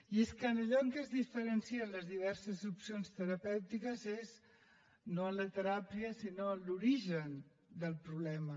i és que en allò en què es diferencien les diverses opcions terapèutiques és no en la teràpia sinó en l’origen del problema